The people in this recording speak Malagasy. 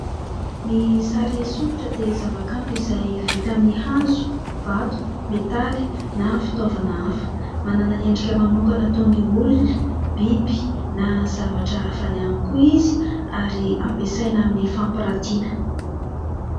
Ny sary sokitra dia zava-kanto izay vita amin'ny hazo, vato, metaly, na fitaovana hafa. Manana endrika manokana toy ny olona, biby na zavatra hafa ihany koa izy ary ampiasaina amin'ny fampiratiana.